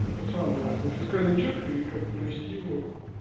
это самое ну фискальный чек и как бы провести его